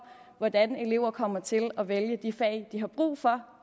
hvordan eleverne kommer til at vælge de fag de har brug for